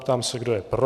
Ptám se, kdo je pro.